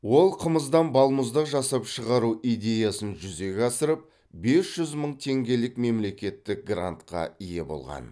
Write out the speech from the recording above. ол қымыздан балмұздақ жасап шығару идеясын жүзеге асырып бес жүз мың теңгелік мемлекеттік грантқа ие болған